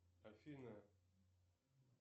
афина